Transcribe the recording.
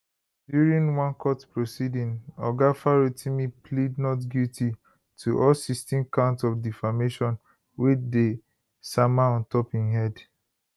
during one court proceeding oga farotimi plead not guilty to all 16 counts of defamation wey dey sama on top im head